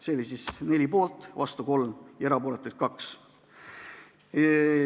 Poolt oli 4, vastu 3 ja erapooletuid 2.